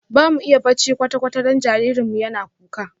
Bamu iya bacci kwata-kwata don jinjirin mu yana kuka jiya